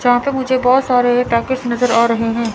जहां पे मुझे बहोत सारे टैकेज नजर आ रहे हैं।